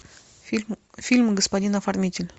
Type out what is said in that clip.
фильм господин оформитель